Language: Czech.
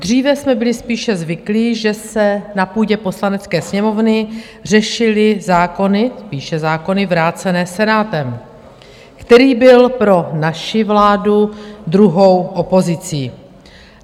Dříve jsme byli spíše zvyklí, že se na půdě Poslanecké sněmovny řešily zákony - spíše zákony - vrácené Senátem, který byl pro naši vládu druhou opozicí.